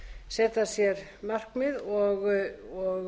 setja sér markmið og